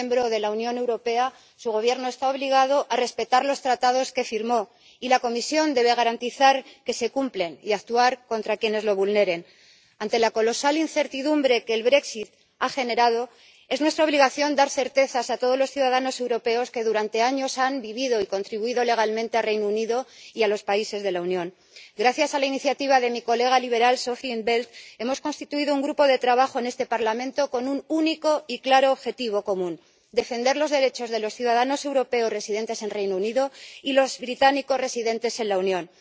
Señora presidenta, señora comisaria, sí, mientras el Reino Unido siga siendo un Estado miembro de la Unión Europea, su Gobierno está obligado a respetar los Tratados que firmó, y la Comisión debe garantizar que se cumplen y actuar contra quienes lo vulneren. Ante la colosal incertidumbre que el brexit ha generado, es nuestra obligación dar certezas a todos los ciudadanos europeos que durante años han vivido y contribuido legalmente al Reino Unido y a los países de la Unión. Gracias a la iniciativa de mi colega liberal Sophia in 't Veld, hemos constituido un grupo de trabajo en este Parlamento con un único y claro objetivo común defender los derechos de los ciudadanos europeos residentes en el Reino Unido y los británicos residentes en la Unión.